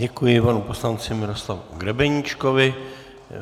Děkuji panu poslanci Miroslavu Grebeníčkovi.